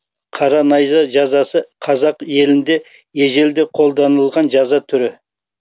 қара найза жазасы қазақ елінде ежелде қолданылған жаза түрі